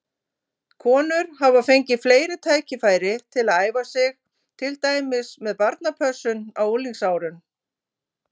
Konur hafa fengið fleiri tækifæri til að æfa sig, til dæmis með barnapössun á unglingsárum.